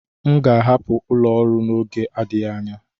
M ga-ahapụ ụlọ ọrụ n'oge na-adịghị anya.